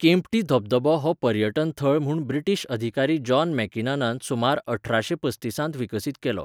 केम्प्टी धबधबो हो पर्यटन थळ म्हूण ब्रिटीश अधिकारी जॉन मेकिनानान सुमारअठराशे पस्तिसांत विकसीत केलो.